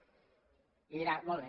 i diran molt bé